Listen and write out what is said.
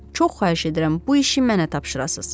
Çox xahiş edirəm, bu işi mənə tapşırasız.